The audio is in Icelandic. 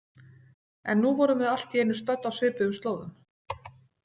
En nú vorum við allt í einu stödd á svipuðum slóðum.